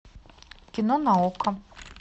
кино на окко